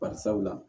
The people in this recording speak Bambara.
Bari sabu la